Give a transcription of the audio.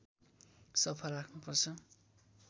सफा राख्नुपर्छ